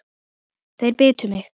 Þeir bitu mig.